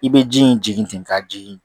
I bɛ ji in jigin ten ka jigin